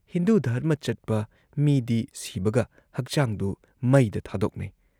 "ꯍꯤꯟꯗꯨ ꯙꯔꯃ ꯆꯠꯄ ꯃꯤꯗꯤ ꯁꯤꯕꯒ ꯍꯛꯆꯥꯡꯗꯨ ꯃꯩꯗ ꯊꯥꯗꯣꯛꯅꯩ ꯫